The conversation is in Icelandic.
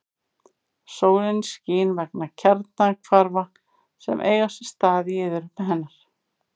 Sólin skín vegna kjarnahvarfa sem eiga sér stað í iðrum hennar.